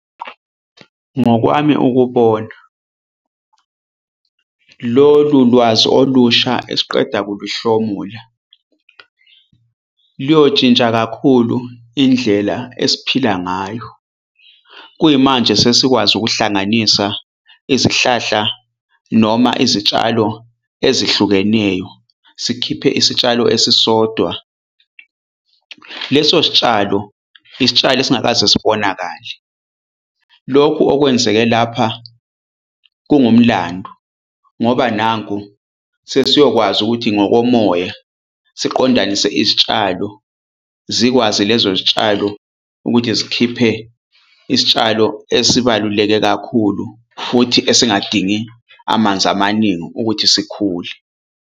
Ngokwami ukubona, lolu lwazi olusha esiqeda kuluhlomula liyoshintsha kakhulu indlela esiphila ngayo. Kuyimanje sesikwazi ukuhlanganisa izihlahla noma izitshalo ezihlukeneyo sikhiphe isitshalo esisodwa. Leso sitshalo isitshalo esingakaze sibonakale. Lokhu okwenzeke lapha kungumlando ngoba nanku sesiyokwazi ukuthi ngokomoya siqondanise isitshalo, zikwazi lezo zitshalo ukuthi zikhiphe isitshalo esibaluleke kakhulu futhi esingadingi amanzi amaningi ukuthi sikhule.